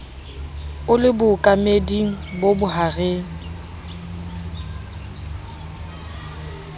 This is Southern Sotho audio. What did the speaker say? o le bookameding bo bohareng